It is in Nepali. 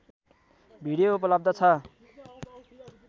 भिडियो उपलब्ध छ